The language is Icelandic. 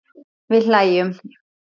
Við hlæjum.